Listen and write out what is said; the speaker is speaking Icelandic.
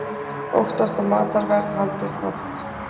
Óttast að matarverð haldist hátt